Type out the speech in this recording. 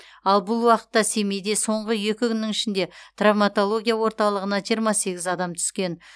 ал бұл уақытта семейде соңғы екі күннің ішінде травматология орталығына жиырма сегіз адам түскен